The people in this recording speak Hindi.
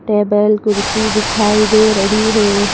टेबल कुर्सी दिखाई दे रही है।